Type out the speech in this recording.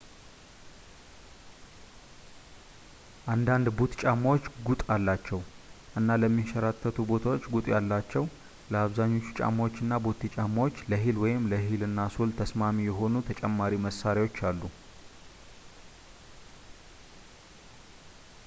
አንዳንድ ቡት ጫማዎች ጉጥ አሏቸው እና ለሚያሸራትቱ ቦታዎች ጉጥ ያላቸው ለአብዛኞቹ ጫማዎች እና ቦቴ ጫማዎች ለሂል ወይም ለሂል እና ሶል ተስማሚ የሆኑ ተጨማሪ መሣሪያዎች አሉ